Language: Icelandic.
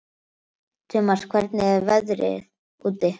Tumas, hvernig er veðrið úti?